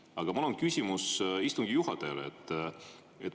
Aga mul on küsimus istungi juhatajale.